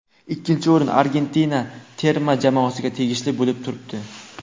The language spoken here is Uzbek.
Ikkinchi o‘rin Argentina terma jamoasiga tegishli bo‘lib turibdi.